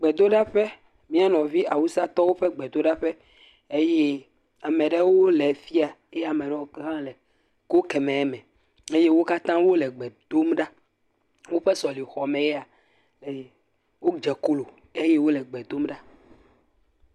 Gbedoɖaƒe, mia nɔvi Awusatɔwo ƒe gbedoɖaƒe eye ame aɖewo le fi ya eye ame bubuwo le go keme me eye wo katã wole gbe dom ɖa, woƒe sɔlexɔmee ya eye wodze klo eye wole gbe dom ɖa.